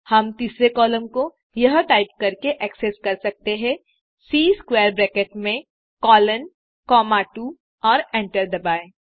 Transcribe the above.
हम तीसरे कॉलम को यह टाइप करके एक्सेस कर सकते हैं सी स्क्वैर ब्रैकेट में कोलोन कॉमा 2 और एंटर दबाएँ